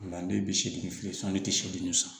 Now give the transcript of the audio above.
O la ne bi segi bi seegin san